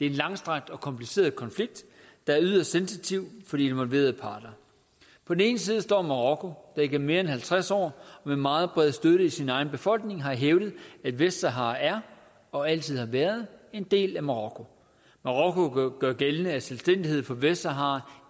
en langstrakt og kompliceret konflikt der er yderst sensitiv for de involverede parter på den ene side står marokko der igennem mere end halvtreds år med meget bred støtte i sin egen befolkning har hævdet at vestsahara er og altid har været en del af marokko marokko gør gældende at selvstændighed for vestsahara